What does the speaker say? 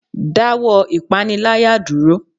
da wọ ìpáníláyá durọ!